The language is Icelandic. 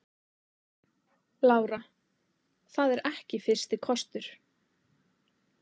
Lára: Það er ekki fyrsti kostur?